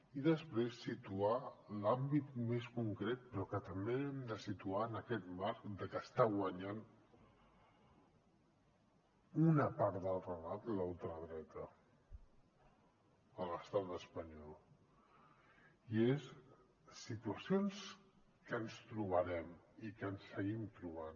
i després situar l’àmbit més concret però que també hem de situar en aquest marc de que està guanyant una part del relat la ultradreta a l’estat espanyol i són situacions que ens trobarem i que ens seguim trobant